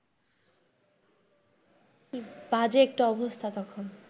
বাজে একটা অবস্থা তখন।